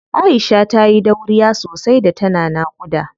Aisha tayi dauriya sosai da tana naƙuda.